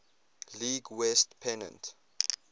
league west pennant